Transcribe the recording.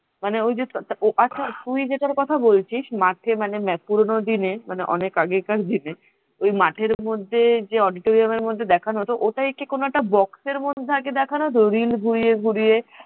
মানে ওই যে আছা তুই যেটার কথা বলছিস মাঠে মানে পুরনো দিনে মানে অনেক আগেকার দিনে ওই মাঠের মধ্যে যে auditorium দেখানো হতো ওটাই কি কোন box র মধ্যে আগে দেখানো হতো রিল ঘুরিয়ে ঘুরিয়ে